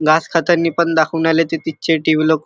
घास खातानी पण दाखवुन आले तीचे टि.व्ही. . लोक --